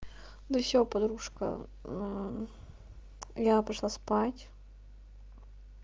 ну все подружка я пошла спать